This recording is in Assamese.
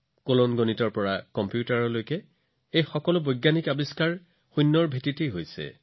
কেলকুলাছৰ পৰা কম্পিউটাৰলৈকে এই সকলো বোৰ বৈজ্ঞানিক আৱিষ্কাৰ শূন্যৰ ওপৰত আধাৰিত